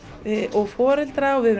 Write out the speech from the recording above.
og foreldrar og við